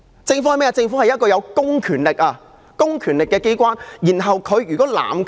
政府是一個有公權力的機關，它一旦濫權......